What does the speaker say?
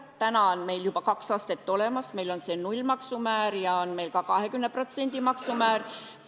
Praegu on meil juba kaks astet olemas: meil on nullmaksumäär ja on meil ka 20%-line maksumäär.